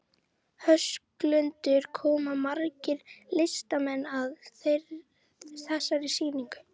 Höskuldur, koma margir listamenn að þessari sýningu?